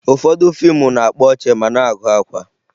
Ụfọdụ fiimu na-akpa ọchị ma na-agụ akwa